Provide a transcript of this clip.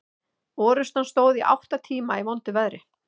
Orrustan stóð í átta tíma í vondu veðri.